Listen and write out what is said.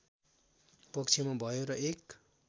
पक्षमा भयो र एक